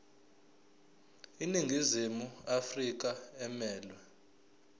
iningizimu afrika emelwe